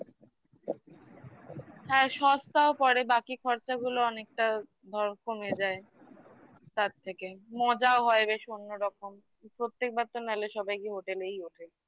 হ্যাঁ সস্তাও পরে বাকি খরচাগুলো অনেকটা বড় কমে যায় তার থেকে মজাও হয় বেশ অন্যরকম প্রত্যেকবার তো নাহলে সবাইকে hotel এই ওঠে